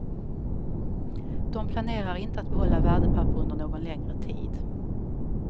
De planerar inte att behålla värdepapper under någon längre tid.